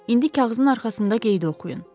İndi kağızın arxasında qeydi oxuyun.